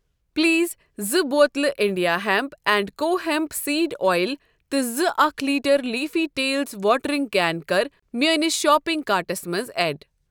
Please زٕ بوتلہٕ انِنٛڈیا ہٮ۪نٛپ اینٛڈ کو ہٮ۪نٛپ سیٖڈ اۄیِل تہٕ زٕ اکھ litre leafy tails watering can کَر میٲنِس شاپنگ کارٹَس منٛز ایڈ۔